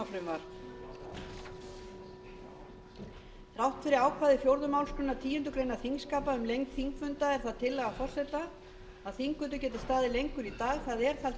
þrátt fyrir ákvæði fjórðu málsgreinar tíundu greinar þingskapa um lengd þingfunda er það tillaga forseta að þingfundur geti staðið lengur í dag það er